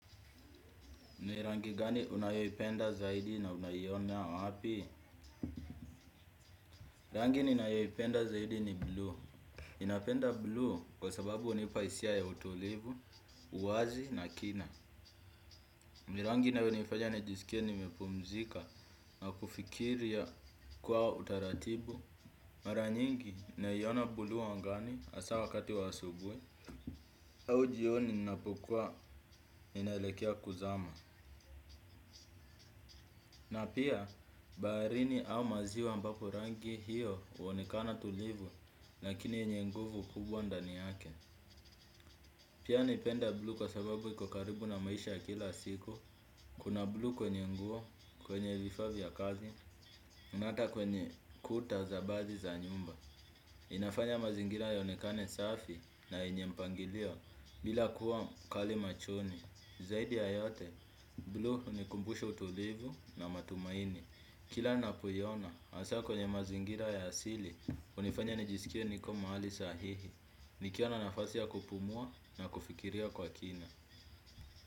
Ni rangi gani unayoipenda zaidi na unaiona wapi? Rangi ninayoipenda zaidi ni blue ninapenda blue kwa sababu hunipa hisia ya utulivu, uwazi na kina. Ni rangi inayonifanya nijisikia nimepumzika na kufikiria kwa utaratibu. Mara nyingi, naiona blue angani hasa wakati asubuhi. Au jioni ninapokuwa inelekea kuzama. Na pia, baharini au maziwa ambapo rangi hiyo huonekana tulivu, lakini yenye nguvu kubwa ndani yake. Pia napenda blue kwa sababu iko karibu na maisha ya kila siku. Kuna blue kwenye nguo, kwenye vifaa vya kazi, na ata kwenye kuta za baadhi za nyumba. Inafanya mazingira ionekane safi na yenye mpangilio bila kuwa kali machoni. Zaidi ya yote, blue hunikumbusha utulivu na matumaini. Kila ninapoiona, hasa kwenye mazingira ya asili, hunifanya nijisikia niko mahali sahihi, nikiona nafasi ya kupumua na kufikiria kwa kina.